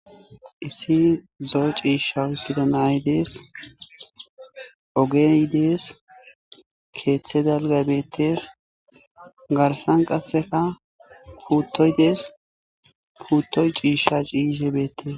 Issi zoo ciisha wukida naydees ogeydees keeththe dalgabeetes garsan qasseka putoydees puuttoy ciisha ciishe beettes.